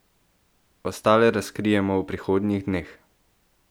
Ostale razkrijemo v prihodnjih dneh!